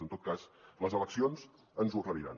en tot cas les eleccions ens ho aclariran